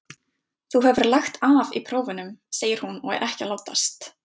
Þú hefur lagt af í prófunum, segir hún og er ekki að látast.